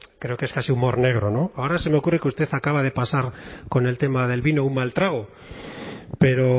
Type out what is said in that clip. creo que es casi humor negro ahora se me ocurre que usted acaba de pasar con el tema del vino un mal trago pero